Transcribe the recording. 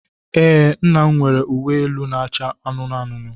Ee, nna'm nwere uwe elu na-acha anụnụ anụnụ.